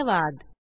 सहभागासाठी धन्यवाद